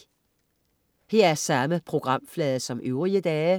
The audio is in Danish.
Samme programflade som øvrige dage*